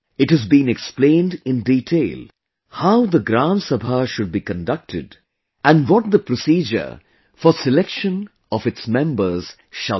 It has been explained in detail how the Gram Sabha should be conducted and what the procedure for selection of its members shall be